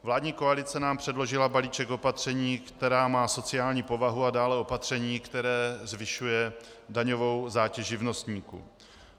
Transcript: Vládní koalice nám předložila balíček opatření, která mají sociální povahu, a dále opatření, které zvyšuje daňovou zátěž živnostníků.